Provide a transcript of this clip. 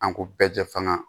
An ko bɛɛ jɛ fana